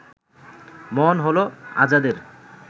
মনে হলো আজাদের